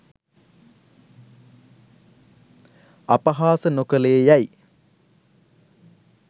අපහාස නොකලේ යැයි